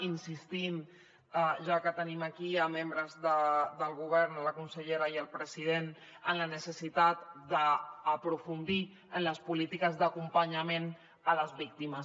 insistim ja que tenim aquí a membres del govern a la consellera i al president en la necessitat d’aprofundir en les polítiques d’acompanyament a les víctimes